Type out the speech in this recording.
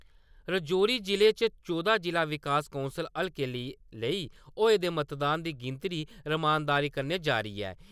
राजौरी ज़िले च चौह्दां जिला विकास कौंसल हल्के लेई होए दे मतदान दी गिनतरी रमानदारी कन्नै जारी ऐ ।